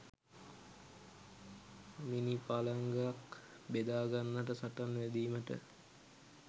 මිණිපළඟක් බෙදාගන්නට සටන් වැදීමට